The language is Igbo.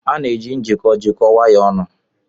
A na-eji njikọ jikọọ wires ọnụ.